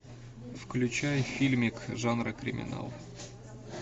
включай фильмик жанра криминал